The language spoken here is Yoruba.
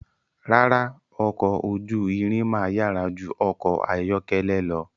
Rárá, ọkọ̀ ojú irin máa yára ju ọkọ̀ ayọ́kẹ́lẹ́ lọ.